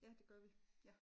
Ja det gør vi ja